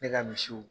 Ne ka misiw